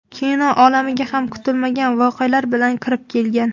Kino olamiga ham kutilmagan voqealar bilan kirib kelgan.